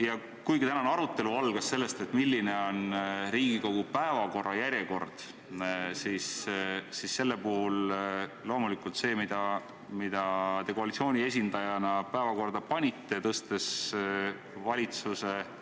Ja kuigi tänane arutelu algas sellest, milline on Riigikogu päevakorra järjekord, on selle puhul loomulikult see, mida te koalitsiooni esindajana päevakorda panite, tõstes valitsuse eelnõu,